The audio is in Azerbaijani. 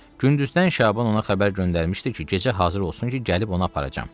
Gündüzdən Şaban ona xəbər göndərmişdi ki, gecə hazır olsun ki, gəlib onu aparacam.